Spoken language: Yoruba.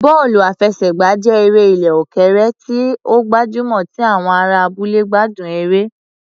Bọ́ọ̀lù àfẹsẹ̀gbá jẹ́ eré ilẹ̀ òkèèrè tí ó gbajúmọ̀ tí àwọn ará abúlé gbádùn eré